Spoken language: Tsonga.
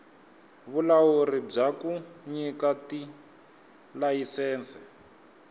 vulawuri bya ku nyika tilayisense